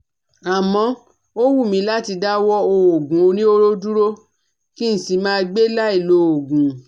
Àmọ́, ó wù mí láti dáwọ́ òògùn oníhóró dúró kí n sì máa gbé láì lòògùn